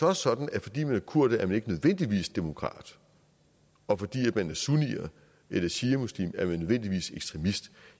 også sådan at fordi man er kurder er man ikke nødvendigvis demokrat og fordi man er sunni eller shiamuslim er man ikke nødvendigvis ekstremist